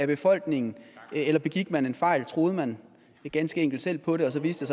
befolkningen eller begik man en fejl troede man ganske enkelt selv på det og så viste